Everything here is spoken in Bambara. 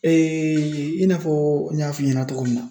i n'a fɔ n y'a f'i ɲɛna cogo min na